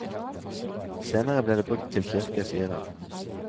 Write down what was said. Senere ble det brukt til kirke, sier hun.